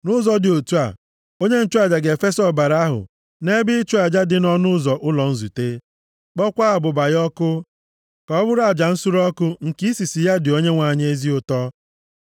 Nʼụzọ dị otu a, onye nchụaja ga-efesa ọbara ahụ nʼebe ịchụ aja dị nʼọnụ ụzọ ụlọ nzute, kpọọkwa abụba ya ọkụ, ka ọ bụrụ aja nsure ọkụ nke isisi ya dị Onyenwe anyị ezi ụtọ.